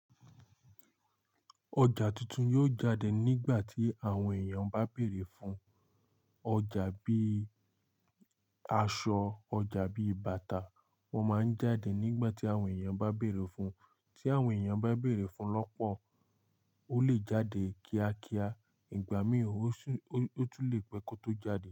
Ọjà tuntun yóò jáde nígbà tí àwọn èèyàn bá bèrè fun. Ọjà bíi aṣọ, ọjà bíi bàtà wọ́n máa ń jáde nígbà tí àwọn èèyàn bá bèrè fun. Tí àwọn èèyàn bá bèrè fun lọ́pọ̀, ó lè jáde kíákíá ìgbà mii ó tún lè pẹ́ kó tó jáde.